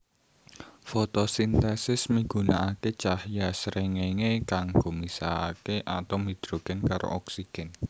Fotosintesis migunakaké cahya srengéngé kanggo misahaké atom hidrogen karo oksigen